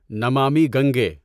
Namami Gange